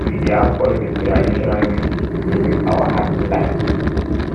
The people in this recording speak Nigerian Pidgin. we dey have fun with traditional music e dey make our heart glad